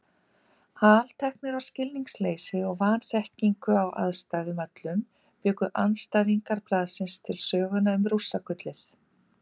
Alteknir af skilningsleysi og vanþekkingu á aðstæðum öllum bjuggu andstæðingar blaðsins til söguna um Rússagullið.